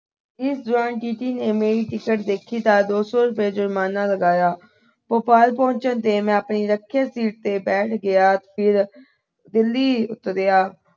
ਇਸ TC ਨੇ ਮੇਰੀ ਟਿਕਟ ਦੇਖੀ ਤਾਂ ਦੋ ਸੌ ਰੁਪਏ ਜੁਰਮਾਨਾ ਲਗਾਇਆ। ਭੋਪਾਲ ਪਹੁੰਚਣ ਤੇ ਮੈਂ ਆਪਣੀ ਰੱਖਿਅਕ ਸੀਟ ਤੇ ਬੈਠ ਗਿਆ, ਫਿਰ ਦਿੱਲੀ ਉਤਰੀਆ।